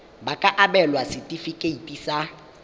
ba ka abelwa setefikeiti sa